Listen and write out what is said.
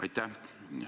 Aitäh!